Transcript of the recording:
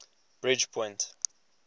bridgepoint